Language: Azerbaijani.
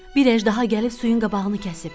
Bir əjdaha gəlib suyun qabağını kəsib.